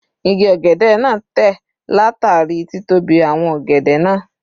Igi ọ̀gẹ̀dẹ̀ náà tẹ̀ látàrí títóbi àwọn ọ̀gẹ̀dẹ̀ náà.